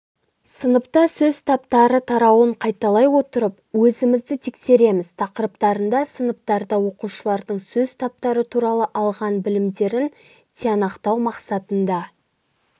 сыныпта сөз таптары тарауын қайталай отырып өзімізді тексереміз тақырыптарында сыныптарда оқушылардың сөз таптары туралы алған білімдерін тиянақтау мақсатында